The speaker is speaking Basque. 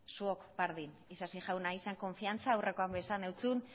zuok berdin isasi jauna izan konfiantza aurrekoan ere esan nizun